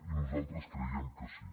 i nosaltres creiem que sí